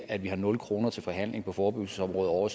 at vi har nul kroner til forhandling på forebyggelsesområdet ovre